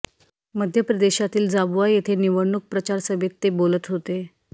मध्य प्रदेशातील झाबुआ येथे निवडणूक प्रचारसभेत ते बोलत होते